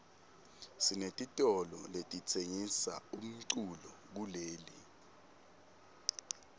sinetitolo letitsengisa umculo kuleli